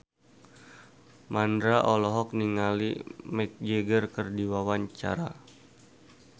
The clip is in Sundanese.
Mandra olohok ningali Mick Jagger keur diwawancara